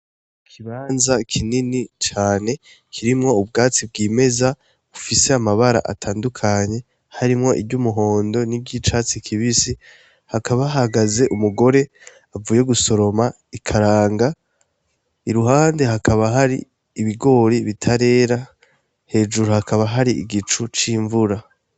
Ikibanza kinini cane kirimwo ubwatsi bwimeza bufise amabara atandukanye, harimwo iry'umuhondo n'uryicatsi kibisi, hakaba hahagaze umugore avuye gusoroma ikaranga, I ruhande hakaba hari ibigori bitarera, hejuru hakaba hari igicu c'imvura.